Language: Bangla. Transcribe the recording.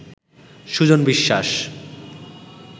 সুজন বিশ্বাস